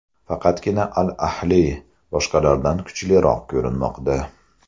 Faqatgina ‘Al-Ahli’ boshqalardan kuchliroq ko‘rinmoqda.